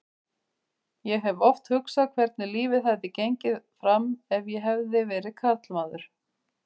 Ég hef oft hugsað hvernig lífið hefði gengið fram ef ég hefði verið karlmaður.